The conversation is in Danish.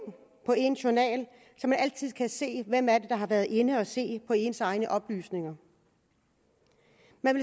på ens journal så man altid kan se hvem det er der har været inde at se på ens egne oplysninger